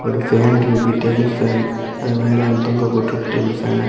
ஒரு ஃபேன் இருக்கு table fan . அது மேல வந்து தொங்க போட்ருக்கு டேபிள் ஃபேன .